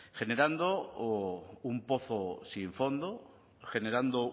generando un pozo sin fondo generando